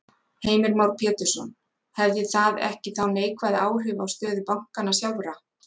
Heimir Már Pétursson: Hefði það ekki þá neikvæð áhrif á stöðu bankanna sjálfra?